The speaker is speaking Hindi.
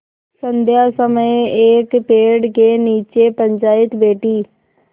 संध्या समय एक पेड़ के नीचे पंचायत बैठी